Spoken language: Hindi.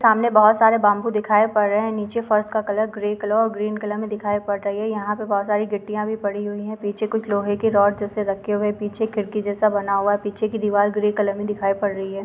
सामने बहुत सारे बांबू दिखाई पड़ रहे है नीचे फर्श का कलर ग्रे कलर और ग्रीन कलर में दिखाई दे रहा है यहाँ पर बहुत सारी गिट्टिया भी पड़ी हुई है पीछे कुछ लोहे के रॉड जैसे रखे हुए है पीछे खिड़की जैसा बना हुआ है पीछे की दीवार ग्रे कलर में दिखाई पड़ रही है।